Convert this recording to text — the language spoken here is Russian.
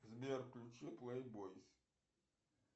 сбер включи плейбойс